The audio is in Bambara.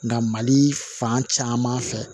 Nka mali fan caman fɛ